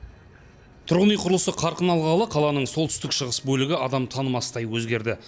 тұрғын үй құрылысы қарқын алғалы қаланың солтүстік шығыс бөлігі адам танымастай өзгерді